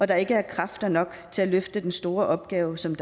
der ikke er kræfter nok til at løfte den store opgave som